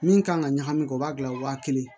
Min kan ka ɲagami kɛ o b'a gilan wa kelen